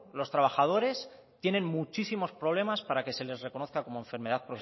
los trabajadores tienen muchísimos problemas para que se les reconozca como enfermedad